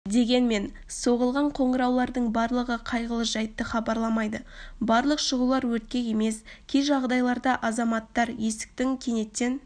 дегенмен соғылған қоңыраулардың барлығы қайғылы жайтты хабарламайды барлық шығулар өртке емес кей жағдайларда азаматтар есіктің кенеттен